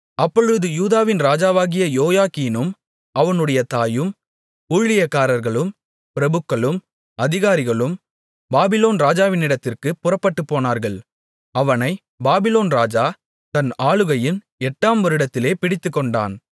அப்பொழுது யூதாவின் ராஜாவாகிய யோயாக்கீனும் அவனுடைய தாயும் ஊழியக்காரர்களும் பிரபுக்களும் அதிகாரிகளும் பாபிலோன் ராஜாவினிடத்திற்குப் புறப்பட்டுப்போனார்கள் அவனைப் பாபிலோன் ராஜா தன் ஆளுகையின் எட்டாம் வருடத்திலே பிடித்துக்கொண்டான்